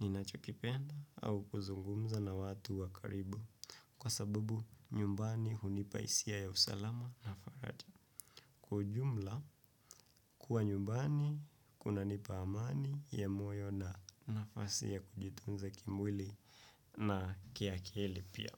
ninachokipenda au kuzungumza na watu wa karibu. Kwa sababu nyumbani hunipa hisia ya usalama na faraja. Kwa ujumla, kuwa nyumbani kunanipa amani ya moyo na nafasi ya kujitunza kimwili na kiakili pia.